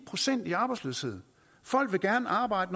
procent i arbejdsløshed folk vil gerne arbejde